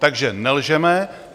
Takže nelžeme.